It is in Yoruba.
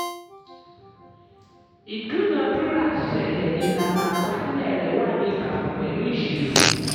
ìdúnàádúràá ṣẹlẹ̀ ìlànà àkọsílẹ̀ rẹ wà ní ìbámu pẹ̀lú ìṣirò.